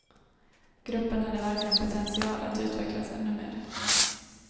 Gruppen hade verkligen potential att utvecklas ännu mer.